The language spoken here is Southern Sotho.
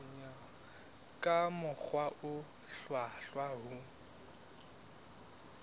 ka mokgwa o hlwahlwa ho